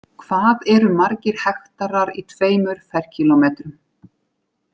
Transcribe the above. Hvað eru margir hektarar í tveimur ferkílómetrum?